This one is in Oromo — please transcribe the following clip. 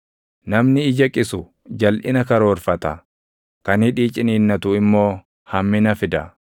Namni ija qisu jalʼina karoorfata; kan hidhii ciniinnatu immoo hammina fida.